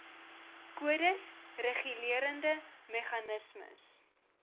kodes regulerende meganismes